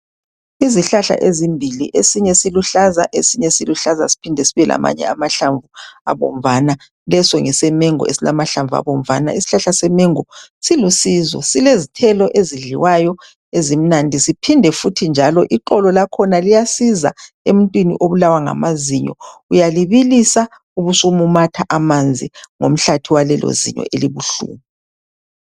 Izihlahla ezimbili, esinye siluhlaza. Esinye siluhlaza siphinde sibe lamanye amahlamvu abomvana. Leso ngesemengo, esilamahlamvu abomvana. Isihlahla semengo silusizo, Silezithelo ezidliwayo, ezimnandi. Siphinde futhi njalo, ixolo lakhona liyasiza, emuntwini obulawa ngamazinyo. Uyalibilisa, ubusumumatha amanzi, ngomhlathi walelozinyo, elibuhlungu.